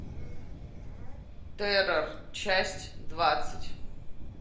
террор часть двадцать